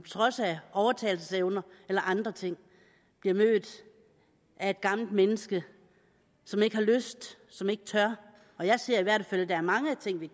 trods af overtalelsesevner eller andre ting bliver mødt af et gammelt menneske som ikke har lyst som ikke tør jeg ser i hvert fald at der er mange ting vi